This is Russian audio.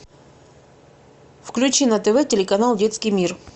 включи на тв телеканал детский мир